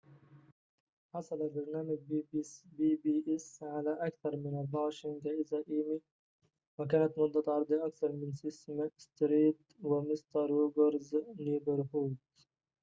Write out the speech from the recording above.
حصل برنامج بي بي إس على أكثر من 24 جائزة إيمي وكانت مدة عرضه أقصر من سيسم ستريت و"ومستر روجرز نيبرهود